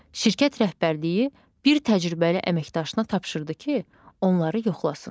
Şirkət rəhbərliyi bir təcrübəli əməkdaşına tapşırdı ki, onları yoxlasın.